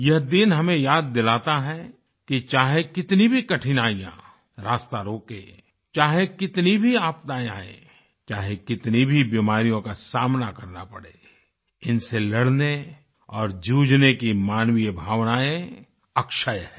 यह दिन हमें याद दिलाता है कि चाहे कितनी भी कठिनाइयाँ रास्ता रोकें चाहे कितनी भी आपदाएं आएं चाहे कितनी भी बीमारियोँ का सामना करना पड़े इनसे लड़ने और जूझने की मानवीय भावनाएं अक्षय है